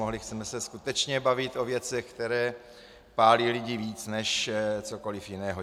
Mohli jsme se skutečně bavit o věcech, které pálí lidi víc než cokoliv jiného.